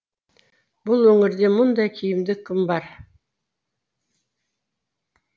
бұл өңірде мұндай киімді кім бар